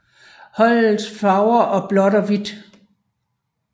Holdets farver og blåt og hvidt